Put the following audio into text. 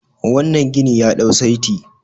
wannan ginin ya dau saiti